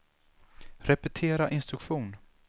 repetera instruktion